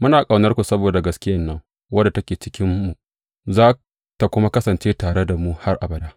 Muna ƙaunarku saboda gaskiyan nan, wadda take cikinmu za tă kuma kasance tare da mu har abada.